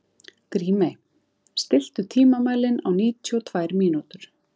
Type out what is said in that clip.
Grímey, stilltu tímamælinn á níutíu og tvær mínútur.